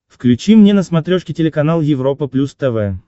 включи мне на смотрешке телеканал европа плюс тв